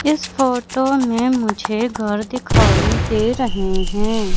इस फोटो मे मुझे घर दिखाई दे रहे हैं।